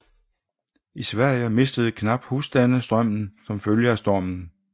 I Sverige mistede knap husstande strømmen som følge af stormen